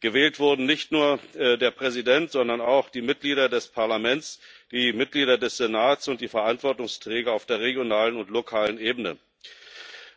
Gewählt wurden nicht nur der Präsident, sondern auch die Mitglieder des Parlaments, die Mitglieder des Senats und die Verantwortungsträger auf der regionalen und lokalen Ebene.